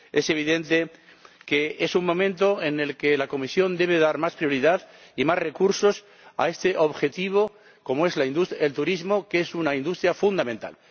Es evidente que es un momento en el que la Comisión debe dar más prioridad y más recursos a este objetivo del turismo, que es una industria fundamental.